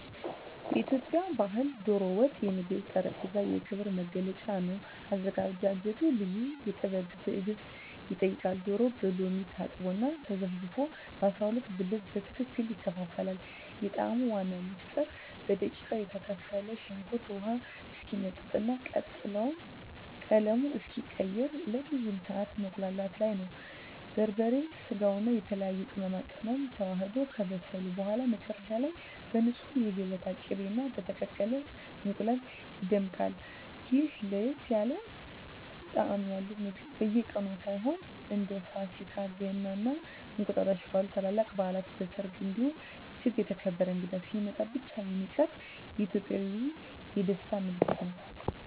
በኢትዮጵያ ባሕል "ዶሮ ወጥ" የምግብ ጠረጴዛ የክብር መገለጫ ነው። አዘገጃጀቱ ልዩ ጥበብና ትዕግስት ይጠይቃል፤ ዶሮው በሎሚ ታጥቦና ተዘፍዝፎ በ12 ብልት በትክክል ይከፋፈላል። የጣዕሙ ዋና ምስጢር በደቃቁ የተከተፈ ሽንኩርት ውሃው እስኪመጥና ቀለሙን እስኪቀይር ለረጅም ሰዓት መቁላላቱ ላይ ነው። በርበሬ፣ ስጋውና የተለያዩ ቅመማ ቅመሞች ተዋህደው ከበሰሉ በኋላ፣ መጨረሻ ላይ በንፁህ የገበታ ቅቤና በተቀቀለ እንቁላል ይደምቃል። ይህ ለየት ያለ ጣዕም ያለው ምግብ በየቀኑ ሳይሆን፣ እንደ ፋሲካ፣ ገና እና እንቁጣጣሽ ባሉ ታላላቅ በዓላት፣ በሰርግ እንዲሁም እጅግ የተከበረ እንግዳ ሲመጣ ብቻ የሚቀርብ የኢትዮጵያውያን የደስታ ምልክት ነው።